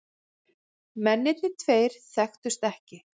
Mennirnir tveir þekktust ekki